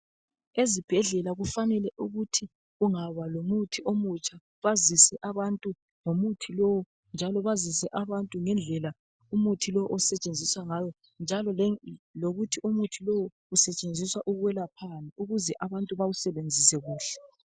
Ezibhedlela kufanele ukuthi kungaba lomuthi omutsha bazise abantu ngomuthi lowo njalo basize abantu ngendlela umuthi lo osetshenziswa ngayo njalo lokuthi umuthi lowo usetshenziswa ukwelaphani ukuze abantu bawusebenzise kuhle.